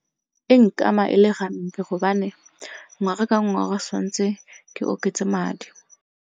E nkama ele gampe gobane ngwaga ka ngwaga tshwanetse ke oketse madi.